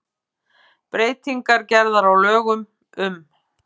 Breytingar gerðar á lögum um